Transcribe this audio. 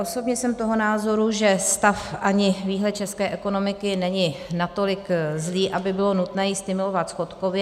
Osobně jsem toho názoru, že stav ani výhled české ekonomiky není natolik zlý, aby bylo nutné ji stimulovat schodkově.